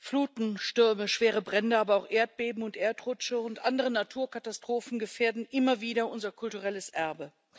Fluten, Stürme, schwere Brände, aber auch Erdbeben und Erdrutsche und andere Naturkatastrophen gefährden immer wieder unser kulturelles Erbe.